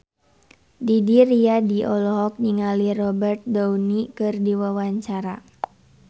Didi Riyadi olohok ningali Robert Downey keur diwawancara